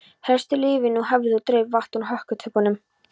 Hestur lyfti nú höfði og draup vatn úr hökutoppnum.